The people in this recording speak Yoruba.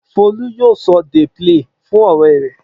Folú yóò sọ dey play fún ọ̀rẹ́ rẹ̀.